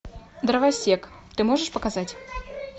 дровосек ты можешь показать